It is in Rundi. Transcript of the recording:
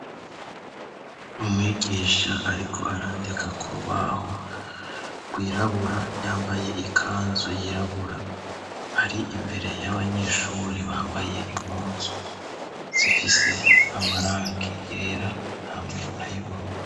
umwigisha ariko arandika ku rubaho rwirabura yambaye ikanzu yirabura ari imbere y'abanyeshure bambaye impunzu zifise amarangi yera hamwe na yibururu